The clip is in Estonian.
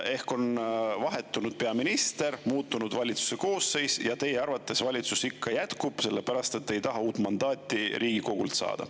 Ehk on vahetunud peaminister ja muutunud valitsuse koosseis – ja teie arvates valitsus ikka jätkab, sellepärast et te ei taha uut mandaati Riigikogult saada.